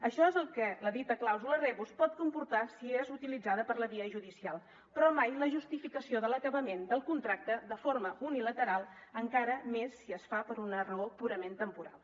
això és el que la dita clàusula rebus pot comportar si és utilitzada per la via judicial però mai la justificació de l’acabament del contracte de forma unilateral encara més si es fa per una raó purament temporal